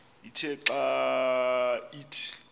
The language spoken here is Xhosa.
ithe xa ithi